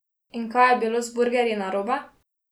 In kaj je bilo z burgerji narobe?